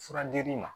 Furadiri ma